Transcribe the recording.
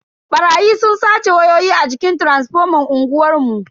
Barayi sun sace wayoyi a jikin taransifoman unguwar mu.